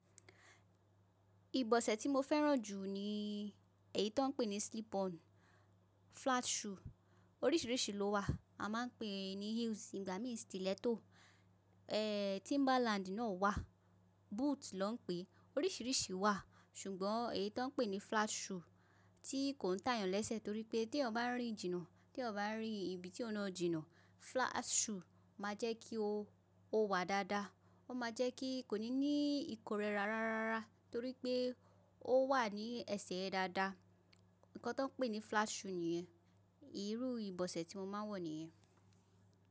Ìbọ̀sẹ̀ tí mo fẹ́ràn jù ni èyí tan ń pè ní slip on, flat shoe oríṣìríṣì ló wà. A máa ń pè é ní heels, ń gba mí stiletto. Eeh, timberland náà wà, boot naa ń pè é. Oríṣìríṣì wà, ṣùgbọ́n èyí tó ń pè ní flat shoe tí kò ń tàyàn lẹ́sẹ̀ torí pé tí ẹ bá rí jìnnà, tí ẹ bá rí ibi tí ó na jìnà, flat shoe máa jẹ́ kí o, o wà dáadáa. Ó máa jẹ́ kí kò ní ní ìkórẹra rárára torí pé ó wà ní ẹsẹ̀ ẹ dáadáa. Ǹkan tan ń pè ní flat shoe nìyẹn. Ìrú ìbọ̀sẹ̀ tí mo máa ń wọ nìyẹn.